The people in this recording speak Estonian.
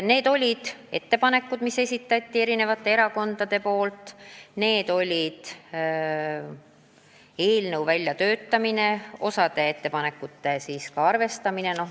Arutasime ettepanekuid, mis olid eri erakondade esitatud, ja osa ettepanekuid me arvestasime.